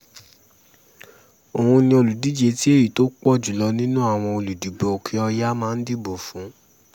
òun ni olùdíje tí èyí tó pọ̀ jù lọ nínú àwọn olùdìbò òkè-ọ̀yà máa dìbò fún